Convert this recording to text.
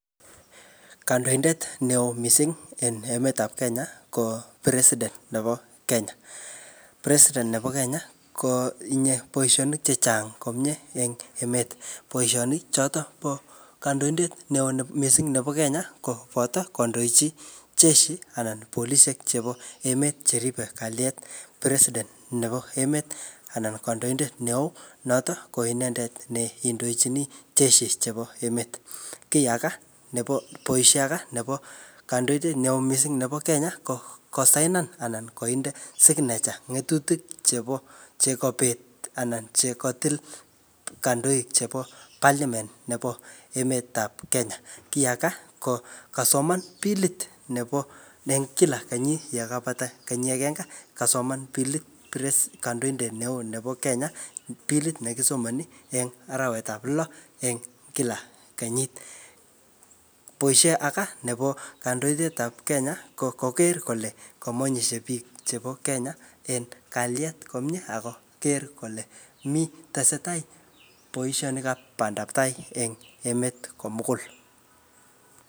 Kandoindet neoo missing en emet ap Kenya, ko president nebo Kenya. President nebo Kenya, kotinye boisonik chechang komyee eng emet. Boisonik chotok po kandoidet neo ne-missing nebo Kenya koboto kondochi jeshi anan polisiek chebo emet cheripe kalyet. President nebo emet, anan kandoindet neoo notok ko inendet ne indochini jeshi chebo emet. Kiy aga nebo bois aga nebo kandoidet neo missing nebo Kenya, ko kosainan anan koinde signature ng'etutik chebo chekabet anan chekatil kandoik chebo parliament nebo emet nebo Kenya. Kiy aga, ko kasoman pilit nebo ne kila kenyit yekapat kenyi agenge, kasoman pilit president kandoindet neoo nebo Kenya. Pilit ne kisomani eng arawet ap lo eng kila kenyit. Boisie aga nebo kandoidet ap Kenya, ko koker kole kamanyishe biik chebo Kenya en kalyet komyee ako ker kole mii, tesetai boisonik ap pandaptai eng emet komugul